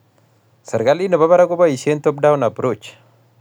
Serikalit nebo barak koboisie top-down approach